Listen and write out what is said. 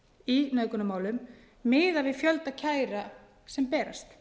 í nauðgunarmálum miðað við fjölda kæra sem berast